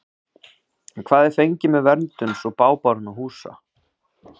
En hvað er fengið með verndun svo bágborinna húsa?